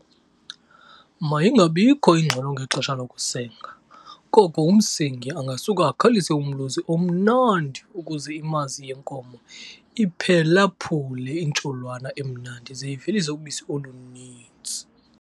Mayingabikho ingxolo ngexesha lokusenga koko umsengi angasuka akhalise umlozi omnandi ukuze imazi yenkomo iphelaphule intsholwana emnandi ze ivelise ubisi oluninzi.